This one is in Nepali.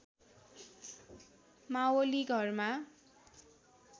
मावली घरमा